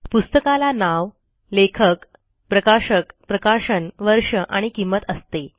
पुस्तकाला नाव लेखक प्रकाशक प्रकाशन वर्ष आणि किंमत असते